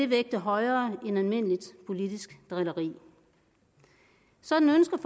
vægte højere end almindeligt politisk drilleri sådan ønsker